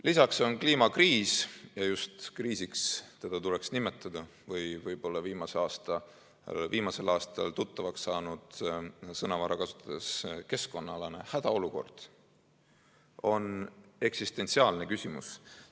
Lisaks on kliimakriis – ja just kriisiks tuleks seda nimetada või võib-olla on see viimasel aastal tuttavaks saanud sõnavara kasutades "keskkonnaalane hädaolukord" –eksistentsiaalne küsimus.